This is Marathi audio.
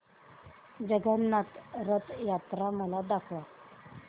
जगन्नाथ रथ यात्रा मला दाखवा